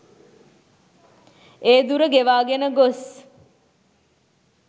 ඒ දුර ගෙවාගෙන ගොස්